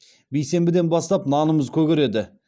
бейсенбіден бастап нанымыз көгереді